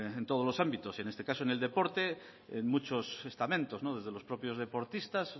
en todos los ámbitos y en este caso en el deporte muchos estamentos desde los propios deportistas